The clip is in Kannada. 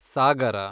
ಸಾಗರ